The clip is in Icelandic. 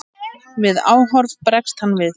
Við áhorf bregst hann við.